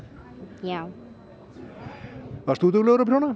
já varst þú duglegur að prjóna